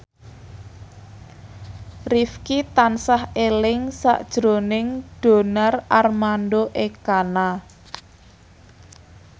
Rifqi tansah eling sakjroning Donar Armando Ekana